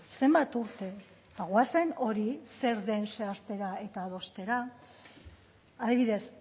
zenbat urte goazen hori zer den zehaztera eta adostera adibidez